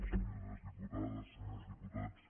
senyores diputades senyors diputats